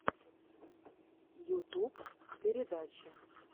ютюб передачи